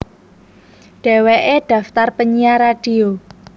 Dheweke daftar penyiar radio